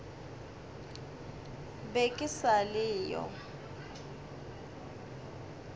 be ke sa le yo